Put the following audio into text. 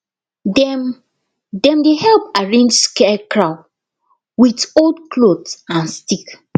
dem dem dey help arrange scarecrow with old cloth and stick